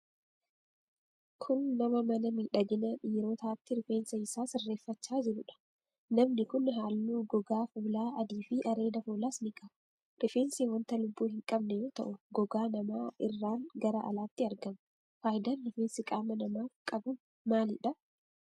Kun, nama mana miidhaginaa dhiirotaatti rifeensa isaa sirreeffachaa jiruu dha. Namni kun, haalluu gogaa fuulaa adii fi areeda fuulaas ni qaba. Rifeensi wanta lubbuu hin qabne yoo ta'u, gogaa namaa irraan gara alaatti marga. Faayidaan rifeensi qaama namaaf qabu maali dha?